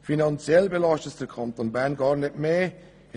Finanziell wird der Kanton Bern gar nicht zusätzlich belastet.